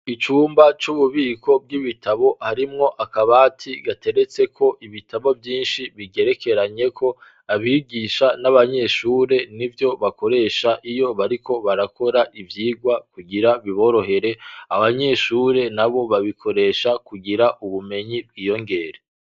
Icumba c'ububiko bw'ibitabo harimwo akabati gateretse ko ibitabo vyinshi bigerekeranyeko abigisha n'abanyeshure ni vyo bakoresha iyo bariko barakora ivyigwa kugira biborohere abanyeshure na bo babikoresha kugira ubumenyi bwiyongere.